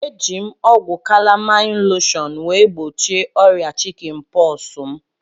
Eji m ọgwụ kalamain loshọn wee gbochie ọrịa chikin pọksi m